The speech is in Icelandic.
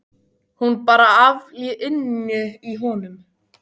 Hún er bara afl inni í honum.